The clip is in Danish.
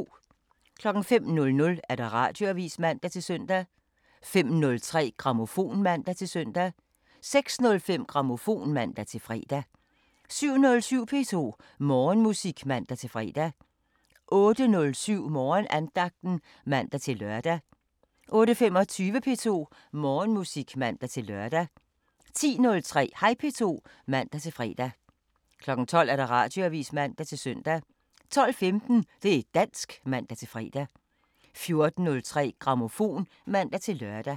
05:00: Radioavisen (man-søn) 05:03: Grammofon (man-søn) 06:05: Grammofon (man-fre) 07:07: P2 Morgenmusik (man-fre) 08:07: Morgenandagten (man-lør) 08:25: P2 Morgenmusik (man-lør) 10:03: Hej P2 (man-fre) 12:00: Radioavisen (man-søn) 12:15: Det' dansk (man-fre) 14:03: Grammofon (man-lør)